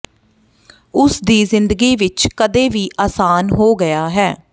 ਉਸ ਦੀ ਜ਼ਿੰਦਗੀ ਵਿਚ ਕਦੇ ਵੀ ਆਸਾਨ ਹੋ ਗਿਆ ਹੈ